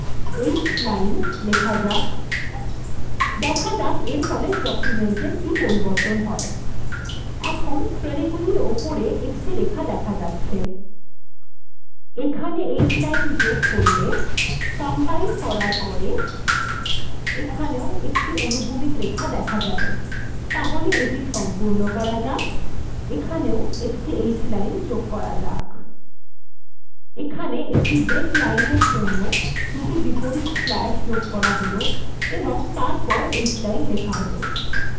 এখানে h line যোগ করলে এখানেও একটি রেখা দেখা যাবে তাহলে এটি সম্পূর্ণ করা যাক এখানে h line যোগ করা হল এখানে একটি break লাইনএর জন্য দুটি বিপরীত স্ল্যাশ্ যোগ করা হল এবং তার পরে h line লেখা হল